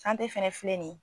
KANTE fana filɛ nin ye.